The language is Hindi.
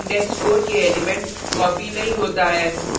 लेकिन फिर भी index 4 के element copied नहीं होता है